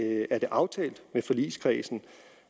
er det aftalt med forligskredsen